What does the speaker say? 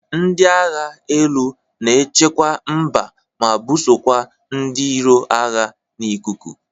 Ndị agha elu na echekwa mba ma bụsokwa ndị iro agha n'ikuku.